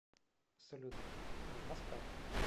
салют нужна справка